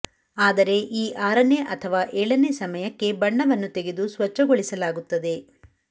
ಆದರೆ ಈ ಆರನೇ ಅಥವಾ ಏಳನೇ ಸಮಯಕ್ಕೆ ಬಣ್ಣವನ್ನು ತೆಗೆದು ಸ್ವಚ್ಛಗೊಳಿಸಲಾಗುತ್ತದೆ